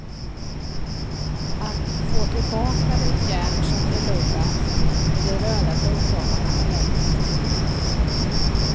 Att få tillbaka det järn som förlorats med de röda blodkropparna tar längre tid.